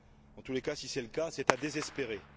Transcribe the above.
En tous les cas, si c'est le cas, c'est à désespérer.